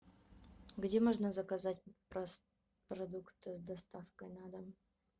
где можно заказать продукты с доставкой на дом